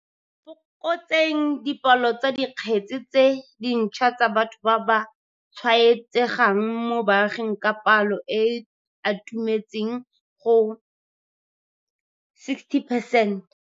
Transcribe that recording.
Fokotseng dipalo tsa dikgetse tse dintšhwa tsa batho ba ba tshwaetsegang mo baaging ka palo e e atumetseng go 60 percent.